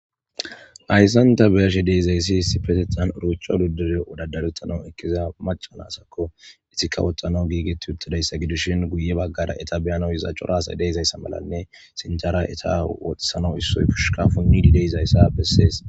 Ayssanta beyashe deezayssi sipetehan urochcho duddure odadarettana ekkiza macanasakko ihikawoxana giigetti yuttadayssa gidishin guye baggada eta biyano iza corasa deezayssa malanne sincara eta woxisana issoy pushuka funnidi deyzayssa bessees